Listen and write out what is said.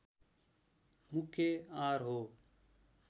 मुख्य आहार हो